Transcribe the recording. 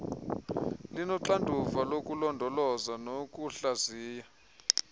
linoxanduva lokulondoloza nokuhlaziya